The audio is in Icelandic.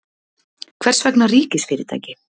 Hvers vegna ríkisfyrirtæki?